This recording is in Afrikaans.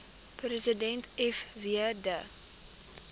president fw de